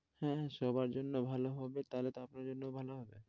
হ্যাঁ, সবার জন্য ভালো হবে, তা হলে তো আপনার জন্যও ভালো হবে।